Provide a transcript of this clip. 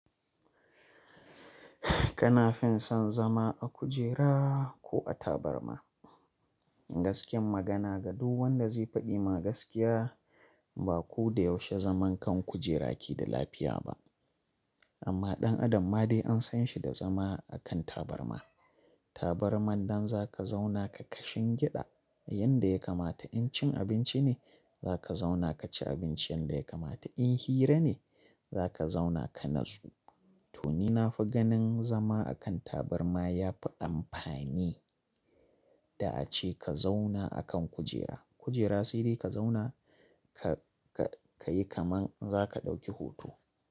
Kana fin son zama a kujera ko a tabarma? Gaskiyar magana ga duk wanda zai faɗi magaskiya, ba ku da yaushe zaman kan kujera ki da lafiya ba. Amma ɗan adam ma dai an san shi da zama a kan tabarma. Tabarma don za ka zauna ka kashin giɗa. Yanda ya kamata in cin abinci ne, za ka zauna ka ci abinci. Yanda ya kamata in hira ne, za ka zauna ka natsu. To ni na fi ganin zama a kan tabarma ya fi amfani da a ce ka zauna a kan kujera. Kujera sai dai ka zauna ka yi kaman za ka ɗauki hoto.